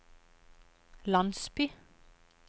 landsby